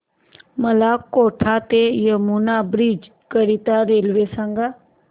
मला कोटा ते यमुना ब्रिज करीता रेल्वे सांगा